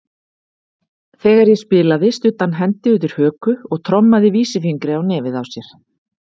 Þegar ég spilaði studdi hann hendi undir höku og trommaði vísifingri á nefið á sér.